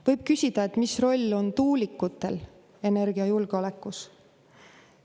Võib küsida, mis roll on tuulikutel energiajulgeolekus.